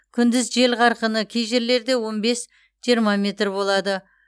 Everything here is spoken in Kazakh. күндіз жел қарқыны кей жерлерде он бес жиырма метр болады